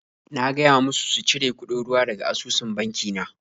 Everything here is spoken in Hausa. Na gaya musu su cire kuɗin ruwa daga asusun banki na.